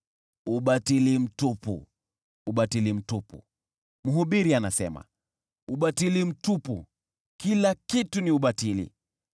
“Ubatili mtupu! Ubatili mtupu!” Mhubiri anasema. “Ubatili mtupu! Kila kitu ni ubatili.”